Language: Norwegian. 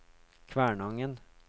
Kvænangen